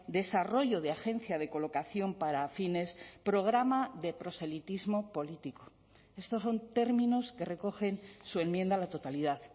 irresponsable desarrollo de agencia de colocación para fines programa de proselitismo estos son términos que recogen su enmienda a la totalidad